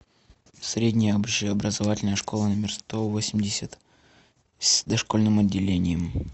средняя общеобразовательная школа номер сто восемьдесят с дошкольным отделением